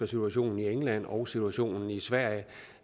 situationen i england og situationen i sverige